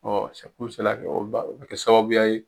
Ɔ o bɛ kɛ sababuya ye